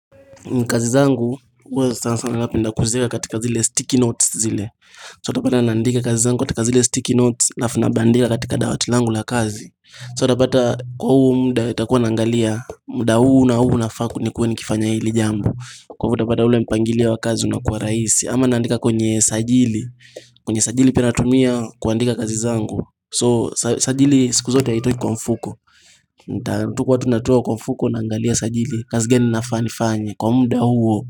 Kazi zangu, huwa naandika katika zile sticky notes zile So utapata naandika kazi zangu katika zile sticky notes alafu nabandika katika dawatil angu la kazi So utapata kwa huu muda nitakuwa naangalia muda huu na huu nafakaa nikuwe kifanya hili jambo Kwa hivyo utapata ule mpangilia wa kazi unakua rahisi ama naandika kwenye sajili, kwenye sajili pia natumia kuandika kazi zangu So sajili siku zote huitoi kwa mfuko nitakuwa tu natoa kwa mfuko naangalia sajili kazi gani nafaa nifanye Kwa muda huo.